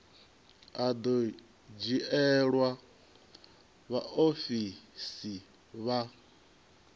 a do dzhielwa vhaofisi vha